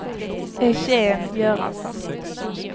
Eugén Göransson